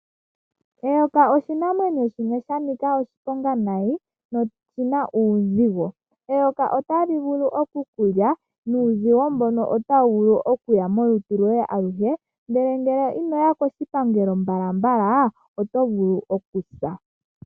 Eyoka oshinamwenyo shimwe sha nika oshiponga nayi noshina uuzigo. Eyoka otali vulu okukulya nuuzigo mbono otawu vulu okuya molutu lwoye awuhe awuhe. Ndele ngele inoya koshipangelo mbala mbala oto vulu okusa.